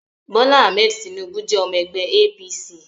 Bola Ahmed Tinubu jẹ́ ọmọ ẹgbẹ́ APC